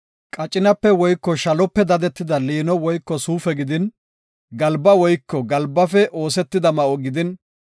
qacinape woyko shalope dadetida liino woyko suufe gidin, galba woyko galbafe oosetida ma7o gidin,